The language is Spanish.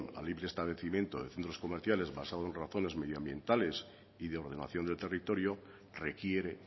a libre establecimiento de centros comerciales basado en razones medioambientales y de ordenación del territorio requiere